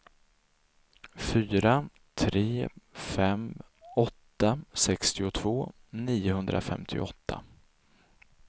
fyra tre fem åtta sextiotvå niohundrafemtioåtta